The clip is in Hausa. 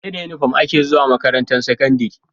Seda inufom ake zuwa makarantar sakandari